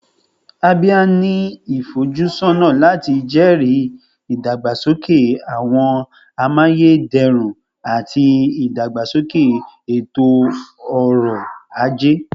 Abia ni ifojusọna lati jẹri idagbasoke awọn amayederun ati idagbasoke eto-ọrọ aje